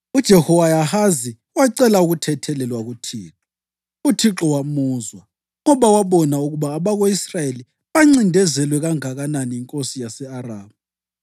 UJehowahazi wacela ukuthethelelwa kuThixo. UThixo wamuzwa, ngoba wabona ukuba abako-Israyeli bancindezelwe kanganani yinkosi yase-Aramu.